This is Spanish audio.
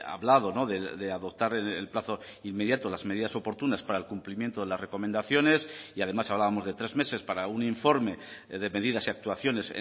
hablado de adoptar en el plazo inmediato las medidas oportunas para el cumplimiento de las recomendaciones y además hablábamos de tres meses para un informe de medidas y actuaciones